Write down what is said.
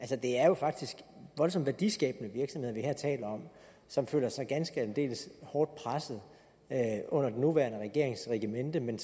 det er jo faktisk voldsomt værdiskabende virksomheder vi her taler om som føler sig ganske aldeles hårdt presset under den nuværende regerings regimente men